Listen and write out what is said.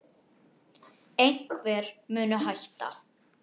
Einhver muni hætta.